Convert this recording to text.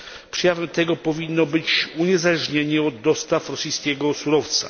Przejawem tego powinno być uniezależnienie od dostaw rosyjskiego surowca.